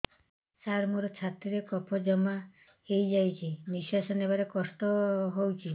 ସାର ମୋର ଛାତି ରେ କଫ ଜମା ହେଇଯାଇଛି ନିଶ୍ୱାସ ନେବାରେ କଷ୍ଟ ହଉଛି